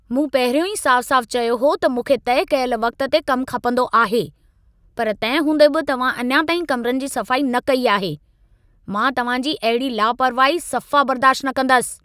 मूं पहिरियों ई साफ़-साफ़ चयो हो त मूंखे तइ कयल वक़्त ते कम खपंदो आहे, पर तंहिं हूंदे बि तव्हां अञा ताईं कमिरनि जी सफ़ाई न कई आहे। मां तव्हां जी अहिड़ी लापरवाही सफ़ा बर्दाश्त न कंदसि।